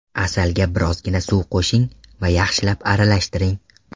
Asalga birozgina suv qo‘shing va yaxshilab aralashtiring.